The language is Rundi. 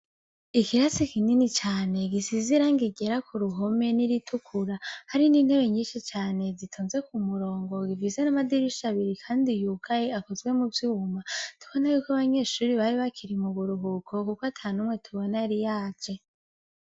Ikirase kinini cane gisize irangi ryera kuruhome n’iritukura, hari n’intebe nyinshi cane zitonze kumurongo ifise n’amadirisha abiri kandi yugaye akozwe mu vyuma tubona yuko abanyeshure bari bakiri mu buruhuko kuko atanumwe tubona yari yaje.